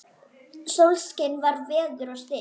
Sólskin var og veður stillt.